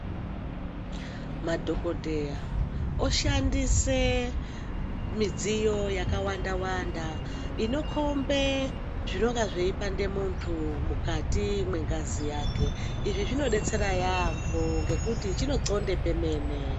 Madhokodheya oshandise midziyo yakawanda wanda inokhombe zvinonga zveipande muntu mukati mwengazi yake. Izvi zvinodetsera yaamho ngekuti chinoxonde pemene.